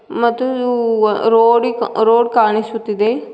ಮತ್ತು ಊ ವ ರೋಡಿ ರೋಡ್ ಕಾಣಿಸುತ್ತಿದೆ.